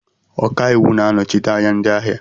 Ọkaiwu na-anọchite anya ndị ahịa